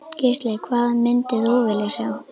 Gísli: Hvað myndir þú vilja sjá?